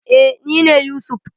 Eh nine Yusuf.